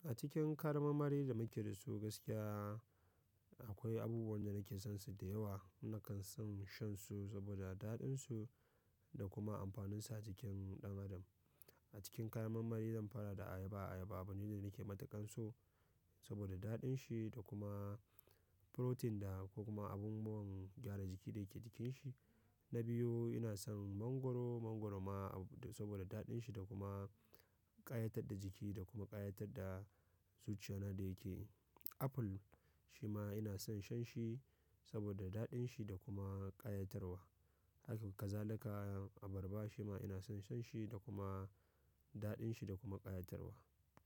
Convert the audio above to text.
A cikin kayan marmari da muke da su gaskiya akwai abubuwan da nake son su da yawa. Nakan son shan su saboda daɗin su da kuma amfaninsu a jikin ɗan adam. A cikin kayan marmari zan fara da ayaba. Ayaba abu ne da nake mataƙar so saboda daɗin shi da kuma protein da ko kuma abin buwan gyara jiki da yake jikin shi. Na biyu ina son mangwaro. Mangwaro ma saboda daɗin shi da kuma ƙayatar da jiki da kuma ƙayatar da zuciya na da yake. Apple shi ma ina son shan shi saboda daɗin shi da kuma ƙayatarwa. Haka zalika abarba shi ma ina son shan shi da kuma daɗin shi da kuma ƙayatarwa.